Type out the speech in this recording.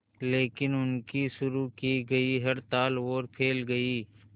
लेकिन उनकी शुरू की गई हड़ताल और फैल गई